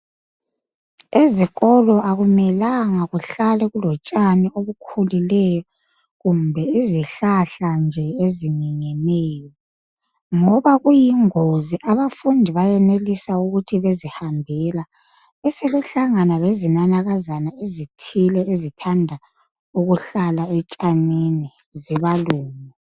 Ezikolo akumelanga kuhlale kulo tshani obukhulileyo kumbe izihlahla ezikhulileyo ngoba kuyingozi abafundi benelisa ukuthi bezihambela besebehlangana lezinanakazana ezithile ezithanda ukuhlala etshanini zibalume.